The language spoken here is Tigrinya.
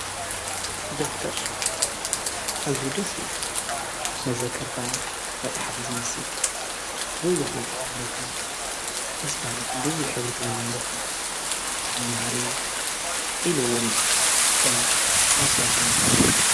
ደፍተር ኣዙይ ደስ መዘከርታ መጽሕፍ ዝመስል ብዙኅተዘኻኽረካ ደስባልት ብዙኅ ኅብርቲውንን ደፍተር የመምሃሪ ኢሉውን ከም መስተዋሻ መትሓዚ እዩ።